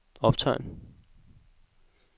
optegn